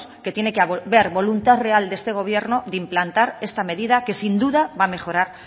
que haber voluntad real de este gobierno de implantar esta medida que sin duda va a mejorar